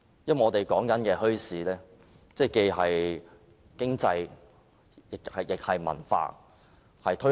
因為我們說的墟市，既是經濟，亦是文化。